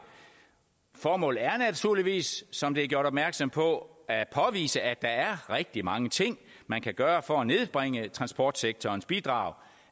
formålet er naturligvis som der er gjort opmærksom på at påvise at der er rigtig mange ting man kan gøre for at nedbringe transportsektorens bidrag